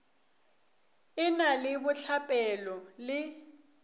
e na le bohlapelo le